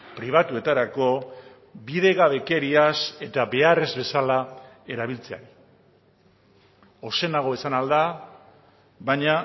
pribatuetarako bidegabekeriaz eta behar ez bezala erabiltzea ozenago esan ahal da baina